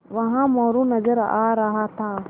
वहाँ मोरू नज़र आ रहा था